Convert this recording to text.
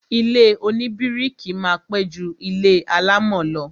Ilé oníbíríkì máa pẹ́ ju ilé alámọ̀ lọ